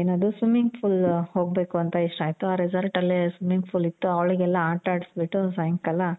ಏನದು swimming pool ಹೋಗ್ಬೇಕು ಅಂತ ಇಷ್ಟ ಆಯ್ತು.ಆ resort ಅಲ್ಲಿ swimming pool ಇತ್ತು ಅವಳಿಗೆಲ್ಲ ಆಟ ಆಡ್ಸಿ ಬಿಟ್ಟು ಸಾಯಂಕಾಲ